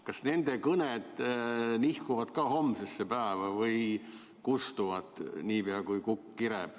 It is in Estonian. Kas nende kõned nihkuvad ka homsesse päeva või kustuvad niipea, kui kukk kireb?